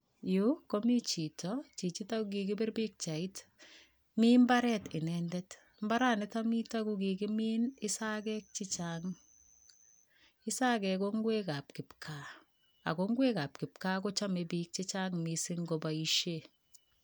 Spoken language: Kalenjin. Yu komi chito, chichito ko kikipir pikchait, mi mbaret inendet, mbaranito mito kokikimin isakeek che chang, isakeek ko ngwekab kipkaa ako ngwekab kipkaa kochome piik chechang mising koboisie.